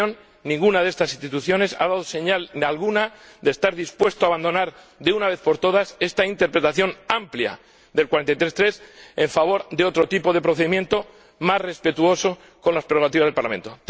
En mi opinión, ninguna de estas instituciones ha dado señal alguna de estar dispuesta a abandonar, de una vez por todas, esta interpretación amplia del artículo 43, apartado 3, en favor de otro tipo de procedimiento más respetuoso con las prerrogativas del Parlamento.